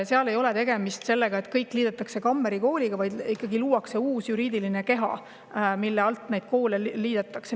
Seal ei ole tegemist sellega, et kõik liidetakse Kammeri Kooliga, vaid luuakse ikkagi uus juriidiline keha, mille alt neid koole liidetakse.